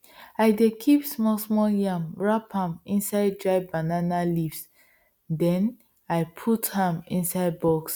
i dey kip small small yam wrap am inside dry banana leafs den i put am inside box